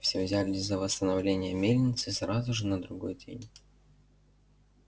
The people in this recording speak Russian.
все взялись за восстановление мельницы сразу же на другой день